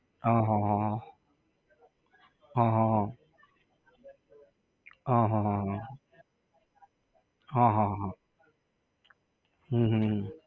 હા હા હા હા. હં હં હં. હં હં હં હં. હા હા હા. હમ હમ હમ